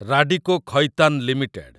Radico Khaitan limited